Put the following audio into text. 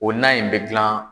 O nan in be gilan